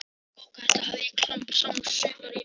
Bókahillu hafði ég klambrað saman um sumarið og málað hana.